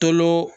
Dolo